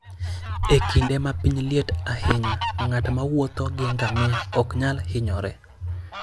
E kinde ma piny liet ahinya, ng'at mowuotho gi ngamia ok nyal hinyore.